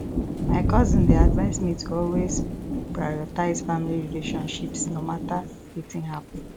my cousin dey advise me to always prioritize family relationships no matter wetin happen